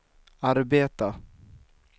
arbeta